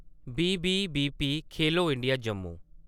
BBBP Khelo India Jammu